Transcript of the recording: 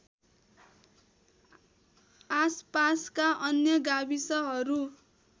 आसपासका अन्य गाविसहरू